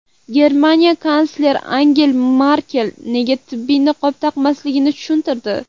Germaniya kansleri Angela Merkel nega tibbiy niqob taqmasligini tushuntirdi.